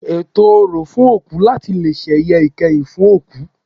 Ètò orò fún òkú láti leè sẹ̀yẹ ìkẹyìn fún òkú